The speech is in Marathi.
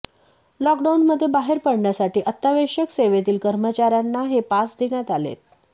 लॉकडाऊनमध्ये बाहेर पडण्यासाठी अत्यावश्यक सेवेतील कर्मचाऱ्यांना हे पास देण्यात आलेत